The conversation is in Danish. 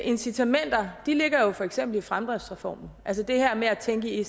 incitamenter ligger jo for eksempel i fremdriftsreformen altså det her med at tænke i